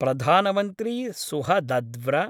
प्रधानमन्त्री सुहदद्व्र